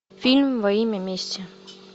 фильм во имя мести